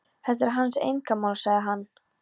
Þetta er hans einkamál, sagði hann.